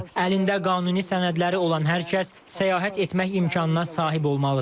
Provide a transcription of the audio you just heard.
Əlində qanuni sənədləri olan hər kəs səyahət etmək imkanına sahib olmalıdır.